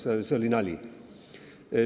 See oli muidugi nali.